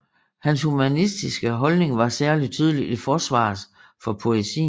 Hans humanistiske holdning var særlig tydelig i forsvaret for poesien